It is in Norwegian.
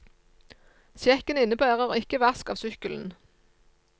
Sjekken innebærer ikke vask av sykkelen.